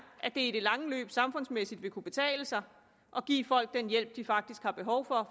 at det i det lange løb samfundsmæssigt vil kunne betale sig at give folk den hjælp de faktisk har behov for